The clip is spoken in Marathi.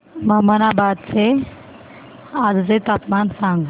ममनाबाद चे आजचे तापमान सांग